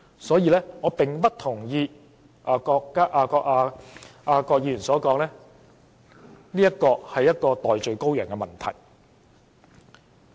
所以我不同意郭議員所說，《條例草案》是找代罪羔羊。